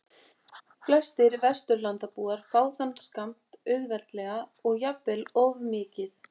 Flestir Vesturlandabúar fá þann skammt auðveldlega og jafnvel of mikið.